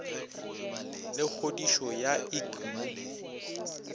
le kgodišo ya ik mo